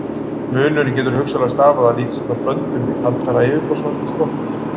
Munurinn getur hugsanlega stafað af lítils háttar blöndun við kaldara yfirborðsvatn í Strokki.